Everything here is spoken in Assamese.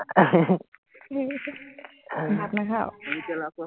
ভাত নাখাৱ?